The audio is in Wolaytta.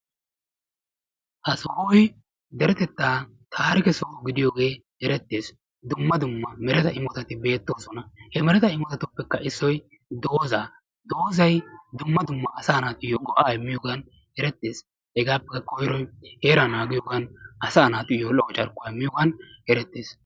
ha sohoy deretettaa taarikke soho gidiyoogee eretiis. duumma dumma doozati baynnaakko asay wannana dii! taan doozata qopiyoode tassi qoppete qopete adhdhena qassi doozata tokkidi dichchidi naagiyooge qassi daro go''a immees.